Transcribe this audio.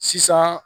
Sisan